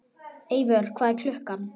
Eivör, hvað er klukkan?